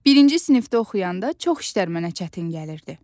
Birinci sinifdə oxuyanda çox işlər mənə çətin gəlirdi.